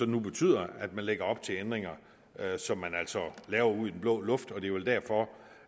nu betyder at man lægger op til ændringer som man altså laver ud i den blå luft det er vel derfor